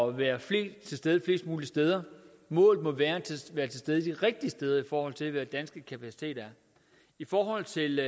at være flest til stede flest mulige steder målet må være at være til stede de rigtige steder i forhold til hvad den danske kapacitet er i forhold til